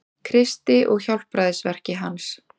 Kristi og hjálpræðisverki hans.